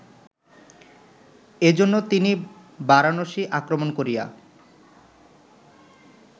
এজন্য তিনি বারাণসী আক্রমণ করিয়া